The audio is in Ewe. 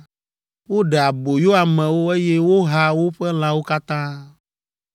woɖe aboyo amewo, eye woha woƒe lãwo katã.